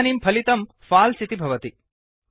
इदानीं फलितं फाल्स् इति भवति